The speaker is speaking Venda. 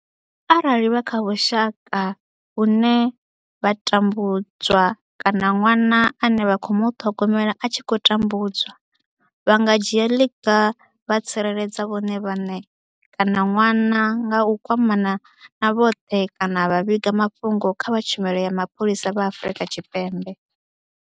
Arali vha kha vhusha ka vhune vha tambu dzwa kana ṅwana ane vha khou muṱhogomela a tshi khou tambudzwa, vha nga dzhia ḽiga vha tsireledza vhone vhaṋe kana ṅwana nga u kwamana na vha khothe kana vha vhiga mafhungo kha vha Tshumelo ya Mapholisa vha Afrika Tshipembe.